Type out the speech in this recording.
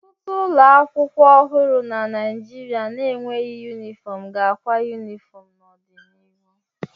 Ọtụtụ ụlọ akwụkwọ ọhụrụ na Naijiria na-enweghị yunifọm ga-akwa yunifọm n'ọdịnihu.